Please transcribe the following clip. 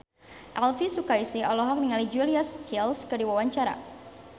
Elvy Sukaesih olohok ningali Julia Stiles keur diwawancara